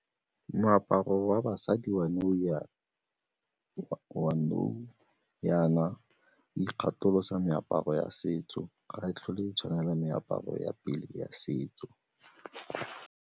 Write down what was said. Moaparo wa basadi wa nou jaana o ikgatholosa meaparo ya setso, ga e tlhole e tshwana le meaparo ya pele ya setso.